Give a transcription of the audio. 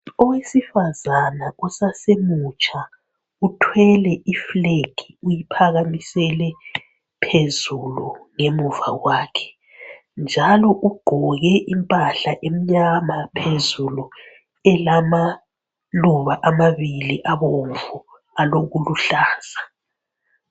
Owesifazana osasemutsha uthwele I flag uyiphakamisele phezulu emuva kwakhe ,njalo ugqoke impahla emnyama phezulu elamaluba Luba amabili abomvu aloku luhlaza